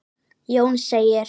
Jón segir